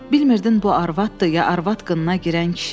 Bilmirdin bu arvaddır, ya arvad qınına girən kişi.